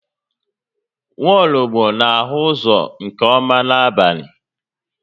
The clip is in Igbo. Nwologbo n'ahụ uzọ nke ọma n'abalị